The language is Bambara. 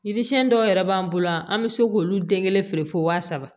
Yiri siɲɛn dɔw yɛrɛ b'an bolo yan an bɛ se k'olu den kelen feere fo waa saba